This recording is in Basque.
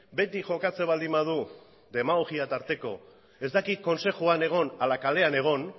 behetik jokatzen baldin badu demagogia tarteko ez daki kontseiluan egon edo kalean egon